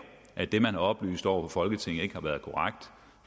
at det man har oplyst over for folketinget ikke har været korrekt